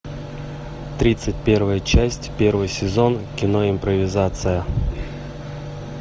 тридцать первая часть первый сезон кино импровизация